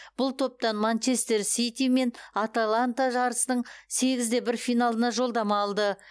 бұл топтан манчестер сити мен аталанта жарыстың сегіз де бір финалына жолдама алды